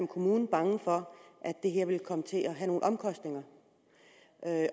kommunen bange for at det her vil komme til at have nogle omkostninger